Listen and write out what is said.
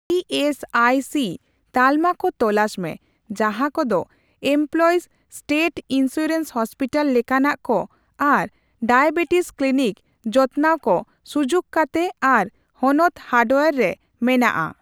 E S I C ᱛᱟᱞᱢᱟ ᱠᱚ ᱛᱚᱞᱟᱥ ᱢᱮ ᱡᱟᱦᱟ ᱠᱚᱫᱚ ᱮᱢᱯᱞᱚᱭᱤᱥ ᱥᱴᱮᱴ ᱤᱱᱥᱩᱨᱮᱱᱥ ᱦᱚᱥᱯᱤᱴᱟᱞ ᱞᱮᱠᱟᱱᱟᱜ ᱠᱚ ᱟᱨ ᱰᱟᱭᱟᱵᱮᱴᱤᱥ ᱠᱞᱤᱱᱤᱠ ᱡᱚᱛᱱᱟᱣ ᱠᱚ ᱥᱩᱡᱩᱠ ᱠᱟᱛᱮ ᱟᱨ ᱦᱚᱱᱚᱛ ᱦᱟᱨᱰᱣᱭᱟᱨ ᱨᱮ ᱢᱮᱱᱟᱜᱼᱟ ᱾